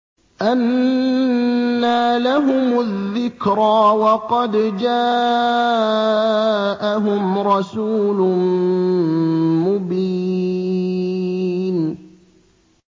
أَنَّىٰ لَهُمُ الذِّكْرَىٰ وَقَدْ جَاءَهُمْ رَسُولٌ مُّبِينٌ